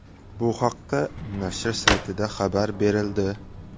Bu haqda nashr saytida xabar berildi .